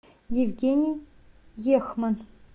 евгений ехман